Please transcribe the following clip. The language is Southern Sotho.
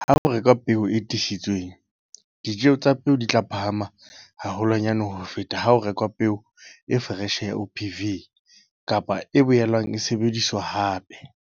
Ha ho rekwa peo e tiisitsweng, ditjeo tsa peo di tla phahama haholwanyane ho feta ha ho rekwa peo e foreshe ya OPV kapa e boelang e sebediswa hape.